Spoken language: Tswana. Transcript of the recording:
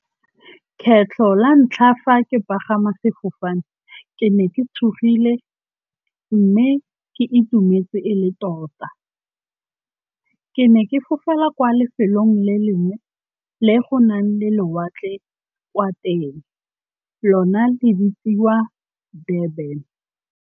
Kgetlho la ntlha fa ke pagama sefofane ke ne ke tshogile mme ke itumetse e le tota. Ke ne ke fofela kwa lefelong le lengwe le go nang le lewatle kwa teng, lona le bitsiwa Durban.